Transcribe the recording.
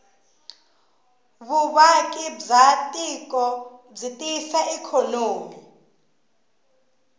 vuvaki bwatiko bwitiyisa ikonomi